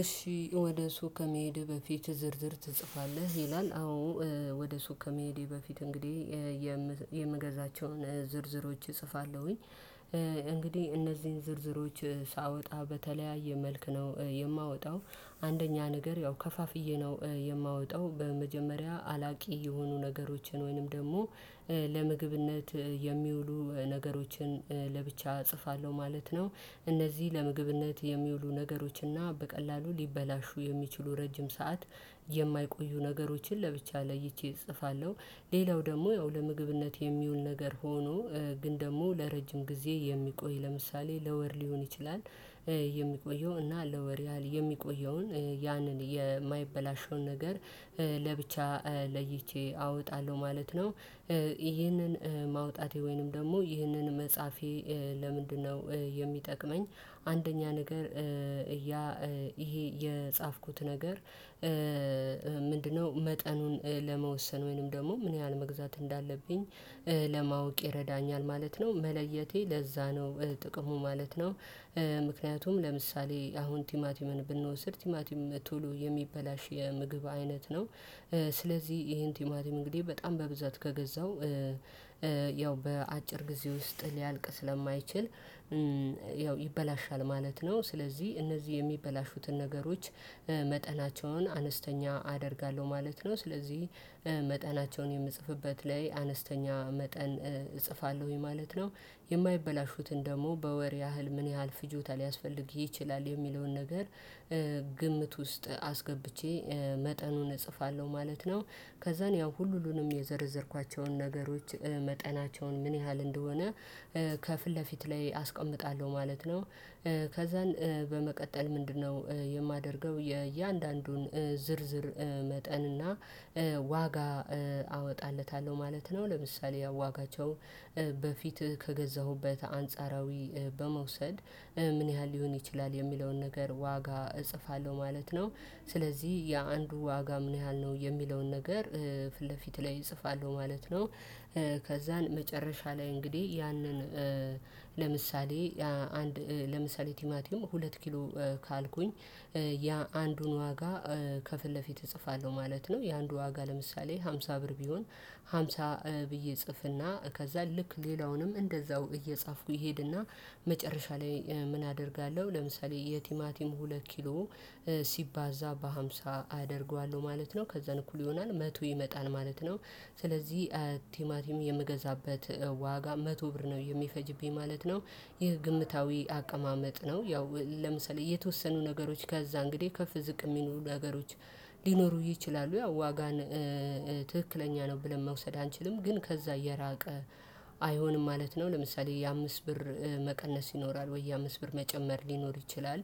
እሺ ወደ ሱቅ ከመሄድ በፊት ዝርዝር ትጽፋለህ ይላል? አዎ ወደ ሱቅ ከመሄዴ በፊት እንግዲህ የምገዛቸውን ዝርዝሮች እጽፋለሁኝ። እንግዲህ እነዚህን ዝርዝሮች ሳወጣ በተለያየ መልክ ነው የማወጣው። አንደኛ ነገር ያው ከፋፍዬ ነው የማወጣው በመጀመሪያ አላቂ የሆኑ ነገሮችን ወይንም ደግሞ ለምግብነት የሚውሉ ነገሮችን ለብቻ እጽፋለሁ ማለት ነው። እነዚህ ለምግብነት የሚውሉ ነገሮች እና በቀላሉ ሊበላሹ የሚችሉ ረጅም ሰዓት የማይቆዩ ነገሮችን ለብቻ ለይቼ እጽፋለሁ። ሌላው ደግሞ ያው ለምግብነት የሚውል ነገር ሆኖ ግን ደግሞ ለረጅም ጊዜ የሚቆይ ለምሳሌ ለወር ሊሆን ይችላል የሚቆየው እና ለወር ያህል የሚቆየውን ያንን የማይበላሸውን ነገር ለብቻ ለይቼ አወጣለሁ ማለት ነው። ይህንን ማውጣቴ ወይንም ደግሞ ይህንን መጽሐፌ ለምንድነው የሚጠቅመኝ? አንደኛ ነገር እያ ይሄ የጻፍኩት ነገር። ምንድነው? መጠኑን ለመወሰን ወይንም ደግሞ ምን ያህል መግዛት እንዳለብኝ ለማወቅ ይረዳኛል ማለት ነው። መለየቴ ለዛ ነው ጥቅሙ ማለት ነው። ምክንያቱም ለምሳሌ አሁን ቲማቲምን ብንወስድ ቲማቲም ቶሎ የሚበላሽ የምግብ አይነት ነው። ስለዚህ ይሄን ቲማቲም እንግዲህ በጣም በብዛት ከገዛው ያው በአጭር ጊዜ ውስጥ ሊያልቅ ስለማይችል ያው ይበላሻል ማለት ነው። ስለዚህ እነዚህ የሚበላሹትን ነገሮች መጠናቸውን አነስተኛ አደርጋለሁ ማለት ነው። ስለዚህ መጠናቸውን የምጽፍበት ላይ አነስተኛ መጠን እጽፋለሁኝ ማለት ነው። የማይበላሹትን ደግሞ በወር ያህል ምን ያህል ፍጆታ ሊያስፈልግ ይችላል የሚለውን ነገር። ግምት ውስጥ አስገብቼ መጠኑን እጽፋለሁ ማለት ነው። ከዛን ያው ሁሉንም የዘረዘርኳቸውን ነገሮች መጠናቸውን ምን ያህል እንደሆነ ከፊት ለፊት ላይ አስቀምጣለሁ ማለት ነው። ከዛን በመቀጠል ምንድነው? የማደርገው የእያንዳንዱን ዝርዝር መጠንና ዋጋ አወጣለታለሁ ማለት ነው። ለምሳሌ ዋጋቸው በፊትህ ከገዛሁበት አንጻራዊ በመውሰድ ምን ያህል ሊሆን ይችላል የሚለውን ነገር ዋጋ እጽፋለሁ ማለት ነው። ስለዚህ የአንዱ ዋጋ ምን ያህል ነው የሚለውን ነገር ፊት ለፊት ላይ እጽፋለሁ ማለት ነው። ከዛን መጨረሻ ላይ እንግዲህ ያንን ለምሳሌ አንድ ለምሳሌ ቲማቲም ሁለት ኪሎ ካልኩኝ ያ አንዱን ዋጋ ከፊት ለፊት እጽፋለሁ ማለት ነው። የአንዱ ዋጋ ለምሳሌ ሃምሳ ብር ቢሆን ሃምሳ ብዬ ጽፍና ከዛ ልክ ሌላውንም እንደዛው እየጻፍኩ ይሄድና መጨረሻ ላይ ምን አደርጋለሁ ለምሳሌ የቲማቲም ሁለት ኪሎ ሲባዛ በሃምሳ አደርገዋለሁ ማለት ነው ከዛ እንኩል ይሆናል መቶ ይመጣል ማለት ነው። ስለዚህ ቲማቲም የምገዛበት ዋጋ መቶ ብር ነው የሚፈጅብኝ ማለት ነው። ይህ ግምታዊ አቀማመጥ ነው። ያው ለምሳሌ የተወሰኑ ነገሮች ከዛ እንግዲህ ከፍ ዝቅ የሚኖሩ ነገሮች ሊኖሩ ይችላሉ ያው ዋጋን ትክክለኛ ነው ብለን መውሰድ አንችልም ግን ከዛ የራቀ አይሆንም ማለት ነው። ለምሳሌ የአምስት ብር መቀነስ ይኖራል ወይ የአምስት ብር መጨመር ሊኖር ይችላል